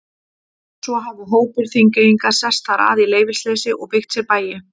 Svo hafi hópur Þingeyinga sest þar að í leyfisleysi og byggt sér bæi.